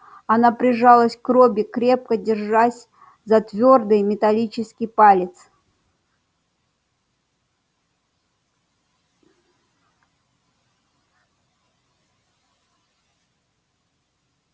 она прижалась к робби крепко держась за твёрдый металлический палец